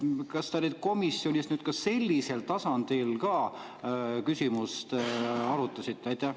Kas te komisjonis sellisel tasandil ka küsimust arutasite?